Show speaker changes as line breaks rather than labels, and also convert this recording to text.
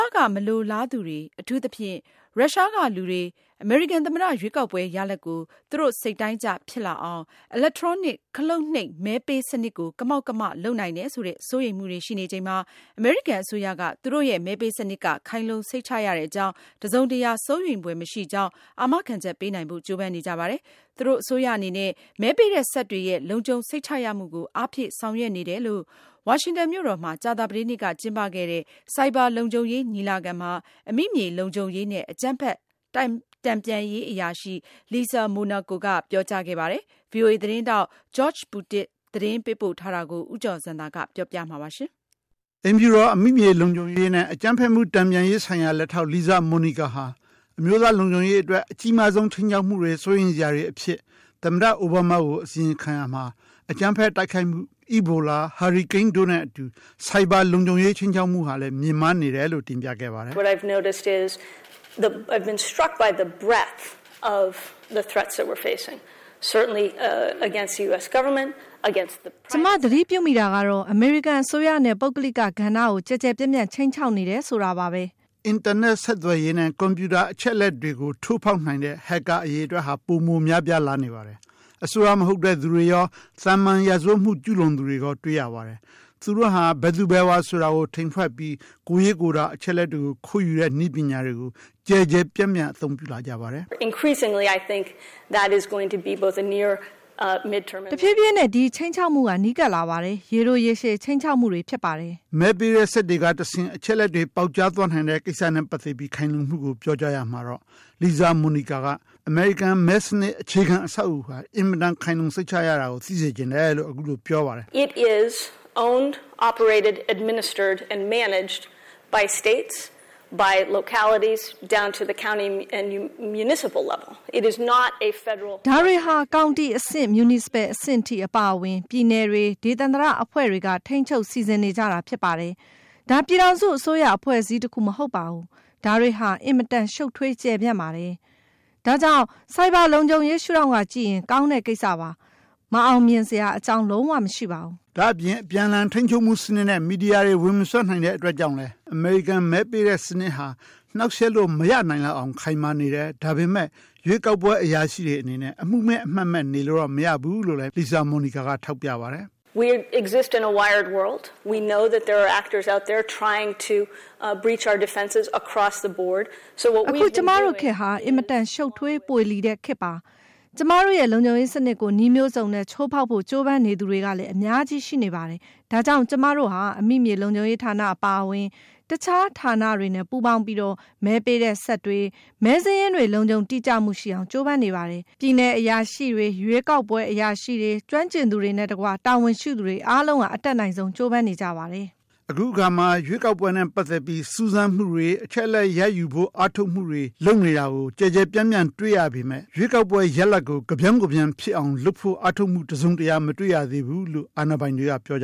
ည်ပက မလိုလားသူတွေ အထူးသဖြင့် ရုရှားကလူတွေ အမေရိကန်သမ္မတရွေးကောက်ပွဲ ရလဒ်ကို သူတို့စိတ်တိုင်းကျ ဖြစ်လာအောင် electronic ခလုတ်နှိပ်မဲပေးစနစ်ကို ကမောက်ကမ လုပ်နိုင်တယ်ဆိုတဲ့ စိုးရိမ်မှုတွေရှိနေချိန်မှာ အမေရိကန်အစိုးရက သူတို့ရဲ့မဲပေးစနစ်က ခိုင်လုံစိတ်ချရတဲ့အကြောင်း တစုံတရာ စိုးရိမ်ဖွယ်မရှိကြောင်း အာမခံချက်ပေးနိုင်ဖို့ ကြိုးပမ်းနေကြပါတယ်။ သူ့အစိုးရအနေနဲ့ မဲပေးတဲ့စက်တွေရဲ့လုံခြုံစိတ်ချရမှုကို အားဖြည့်ဆောင်ရွက်နေတယ်လို့ ဝါရှန်တန်မြို့တော်မှာ ကြာသပတေးနေ့က ကျင်းပခဲ့တဲ့ Cyber လုံခြုံရေးညီလာခံမှာ အမိမြေလုံခြုံရေးနဲ့ အကြမ်းဖက်မှု တန်ပြန်ရေးအရာရှိ Lisa Monaco က ပြောကြားခဲ့ပါတယ်။ ဗွီအိုအေသတင်းထောက် George Putic ပေးပို့ထားတဲ့ သတင်းလွှာကို ဦးကျော်ဇံသာက တင်ပြထားပါတယ်
။ အိမ်ဖြူတော်ရဲ့အမိမြေလုံခြုံရေးနဲ့ အကြမ်းဖက်မှု တန်ပြန်ရေးဆိုင်ရာ လက်ထောက် Lisa Monica ဟာ အမျိုးသားလုံခြုံရေးဆိုင်ရာ အကြီးမားဆုံး ခြိမ်းခြောက်မှုတွေအဖြစ် သမ္မတ အိုဘားမားဆီ အစီရင်ခံရာမှာ အကြမ်းဖက်တိုက်ခိုက်မှု၊ Ebola၊ ဟာရီကိန်းတို့နဲ့အတူ Cyber လုံခြုံရေးခြိမ်းခြောက်မှုဟာလည်း မြင့်မားနေတယ်လို့ တင်ပြခဲ့ပါတယ်။ "က
ျမသတ
ိပြုမိတာကတော့ အမေရိကန်အစိုးရနဲ့ ပုဂ္ဂလိကကဏ္ဍကို ကျယ်ကျယ်ပြန့်ပြန့် ခြိမ်းခြောက်နေတယ်ဆိုတာပဲ ဖြစ်ပါတယ
်။" အင်တာနက်ဆက်သွယ်ရေးနဲ့ ကွန်ပြူတာအချက်အလက်တွေကို ထိုးဖောက်နိုင်တဲ့ Hacker အရေအတွက် ပိုမို များပြားလာနေပါတယ်။ အစိုးရမဟုတ်တဲ့သူတွေရော သာမန်ရာဇဝတ်မှု ကျူးလွန်နေသူတွေပါ တွေ့ရပါတယ်။ သူတို့ဟာ ဘယ်သူဘယ်ဝါဆိုတာ ထိန်ဝှက်ပြီး ကိုယ်ရေးအချက်အလက် ခိုးယူတဲ့နည်းပညာကို ကျယ်ကျယ်ပြန့်ပြန့် သုံးလာကြပါတယ်။ "တ
ဖြည်းဖြ
ည်းနဲ့ ဒီခြိမ်းခြောက်မှုဟာ နီးကပ်လာပါတယ်။ ရေတိုရေရှည် ခြိမ်းခြောက်မှုတွေ ဖြစ်ပါတယ်။
" မဲပေးတဲ့စက်တွေကတဆင့် အချက်အလက်တေ ွပေါက်ကြားသွားနိုင်တဲ့ကိစ္စနဲ့ ပတ်သက်တဲ့ ခိုင်လုံမှုကို ပြောကြားရာမှာတော့ Lisa Monica က အမေရိကန်မဲစနစ် အခြေခံအဆောက်အဦးဟာ အင်မတန် ခိုင်လုံစိတ်ချရတယ်ဆိုတာ သိစေချင်လို့ ဆိုပါတယ်။
"ဒါတွ
ေဟာ ကောင်တီအဆင့် မြူနီစပယ်အဆင့်အထိ အပါအဝင် နိုင်ငံတွေ၊ ပြည်နယ်တွေ၊ ဒေသန္တရအဖွဲ့တွေက ထိန်းချုပ်စီစဉ်နေကြတာ ဖြစ်ပါတယ်။ ဒါ ပြည်ထောင်စုအစိုးရ အဖွဲ့အစည်းတခု မဟုတ်ပါဘူး။ ဒါတွေဟာ အင်မတန် ရှည်လျား ရှုတ်ထွေးပါတယ်။ ဒါကြောင့် ဆိုက်ဘာလုံခြုံရေး ရှုထောင့်ကကြည့်ရင် ကောင်းတဲ့ကိစ္စပါ။ မအောင်မြင်စရာအကြောင်း လုံး၀ မရှိပါဘူး
။" ဒါ့အပြင် အပြန်အလှန် ထိန်းညှိမှုစနစ်နဲ့ မီဒီယာတွေ မသိမမြင်နိုင်တဲ့အတွက်ကြောင့်လည်း အမေရိကန်မဲစနစ်တာ နှောင့်ယှက်လို့မရအောင် ခိုင်မာနေပါတယ်။ ဒါပေမဲ့ ရွေးကောက်ပွဲအရာရှိတွေ အမှုမဲ့ အမှတ်မဲ့ နေလို့တော့မရဘူးလို့လည်း Monoca က ဆိုပါတယ်။ "
အခု ကျမတို့ခေတ်
ဟာ အင်မတန် ရှုတ်ထွေးပွေလီတဲ့ခေတ် ဖြစ်ပါတယ်။ ကျမတို့ရဲ့ လုံခြုံရေးစနစ်ကို နည်းမျိုးစုံနဲ့ ချိုးဖောက်ဖို့ ကြိုးပမ်းနေသူတွေ အများကြီး ရှိနေပါတယ်။ ဒါကြောင့် ကျမတို့ဟာ အမိမြေလုံခြုံရေးဌာနအပါအဝင် တခြားဌာနတွေနဲ့ ပူးပေါင်းပြီး မဲပေးတဲ့စက်တွေ၊ မဲစာရင်းတွေ လုံခြုံတိကျမှုရှိအောင် ကြိုးပမ်းနေပါတယ်။ ပြည်နယ်အရာရှိတွေ၊ ရွေးကောက်ပွဲအရာရှိတွေ၊ ကျွမ်းကျင်သူတွေနဲ့တကွ တာဝန်ရှိသူတွေ အားလုံးက အတတ်နိုင်ဆုံး ကြိုးပမ်းနေကြပါတယ်။
" အခုအခါ ရွေးကောက်ပွဲနဲ့ပတ်သက်လို့ စူးစမ်းမှု၊ အချက်အလက် ရယူဖို့ အားထုတ်မှုတွေ အများအပြားတွေ့ရပေမဲ့ ရလဒ်ကို ကပြောင်းကပြန် ဖြစ်အောင်လုပ်ဖို့ အားထုတ်မှု တစုံတရာ မတွေ့ရသေးဘူးလို့ အာဏာပိုင်တွေက ပြောနေက